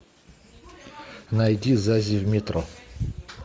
найди зази в метро